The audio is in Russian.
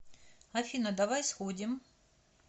афина давай сходим